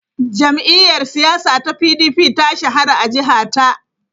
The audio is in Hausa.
Jam’iyyar siyasa ta PDP ta shahara a jiha ta.